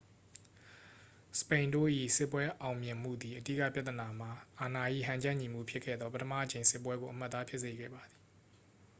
စပိန်တို့၏စစ်ပွဲအောင်မြင်မှုသည် အဓိကပြဿနာမှာ အာဏာ၏ဟန်ချက်ညီမှုဖြစ်ခဲ့သော ပထမအကြိမ်စစ်ပွဲကို အမှတ်အသားဖြစ်စေခဲ့ပါသည်